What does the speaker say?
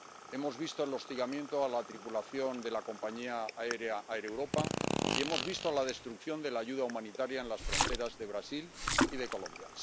Hemos visto el hostigamiento a la tripulación de la compañía aérea Air Europa y hemos visto la destrucción de la ayuda humanitaria en las fronteras de Brasil y de Colombia.